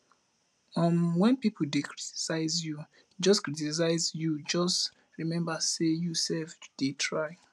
um wen pipo dey criticize you just criticize you just remember sey you self dey try